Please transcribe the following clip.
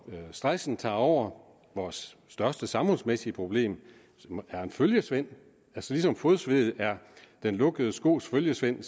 stressen tager over vores største samfundsmæssige problem som er en følgesvend ligesom fodsved er den lukkede skos følgesvend